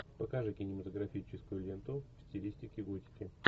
покажи кинематографическую ленту в стилистике готики